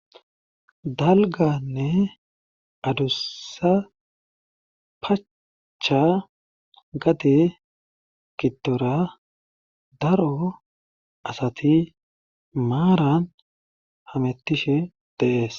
Dalganne adussa pachcha gade giddora daro asati maaran hamettishe de7ees.